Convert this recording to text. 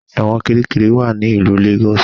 Ẹ̀wọ̀n Kirikiri wá ní ilú Lagos.